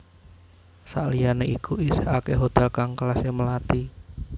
Sakliyane iku isih akeh hotel kang kelase melati